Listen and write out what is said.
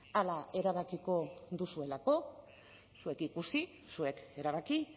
hala erabakiko duzuelako zuek ikusi zuek erabaki